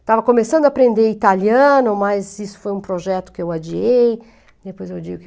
Estava começando a aprender italiano, mas isso foi um projeto que eu adiei, depois eu adiei o quê?